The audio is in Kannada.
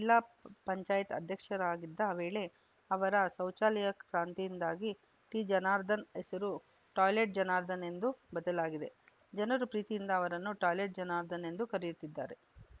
ಜಿಲ್ಲಾ ಪಂಚಾಯಿತಿ ಅಧ್ಯಕ್ಷರಾಗಿದ್ದ ವೇಳೆ ಅವರ ಶೌಚಾಲಯ ಕ್ರಾಂತಿಯಿಂದಾಗಿ ಟಿಜನಾರ್ದನ್‌ ಹೆಸರು ಟಾಯ್ಲೆಟ್‌ ಜನಾರ್ದನ್‌ ಎಂದು ಬದಲಾಗಿದೆ ಜನರು ಪ್ರೀತಿಯಿಂದ ಅವರನ್ನು ಟಾಯ್ಲೆಟ್‌ ಜನಾರ್ದನ್‌ ಎಂದೇ ಕರೆಯುತ್ತಿದ್ದಾರೆ